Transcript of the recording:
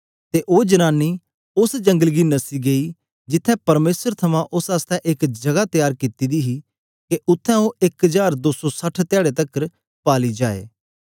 ते ओ जनानी उस्स जंगल गी नस्सी गई जिथें परमेसर थमां उस्स आसतै एक जगह तेयार कित्ती दी हे के उत्थें ओ एक हजार दो सौ साठ धयारे तकर पाली जाए